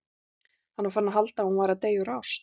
Hann var farinn að halda að hún væri að deyja úr ást!